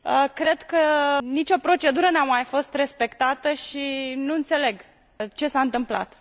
Cred că nicio procedură nu a mai fost respectată și nu înțeleg ce s a întâmplat.